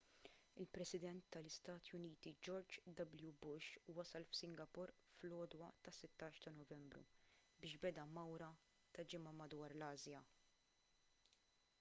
il-president tal-istati uniti george w bush wasal f'singapore fl-għodwa tas-16 ta' novembru biex beda mawra ta' ġimgħa madwar l-asja